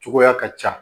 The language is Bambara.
Cogoya ka ca